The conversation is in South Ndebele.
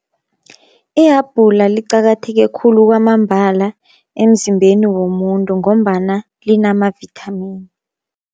Ihabhula liqakatheke khulu kwamambala emzimbeni womuntu, ngombana linamavithamini.